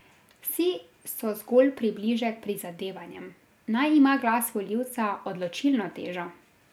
Vsi so zgolj približek prizadevanjem, naj ima glas volivca odločilno težo.